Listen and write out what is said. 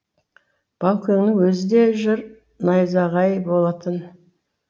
баукеңнің өзі де жыр найзағайы болатын